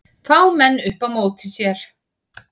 Fá menn upp á móti sér